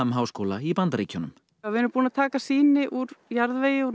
háskóla í Bandaríkjunum við erum búin að taka sýni úr jarðvegi úr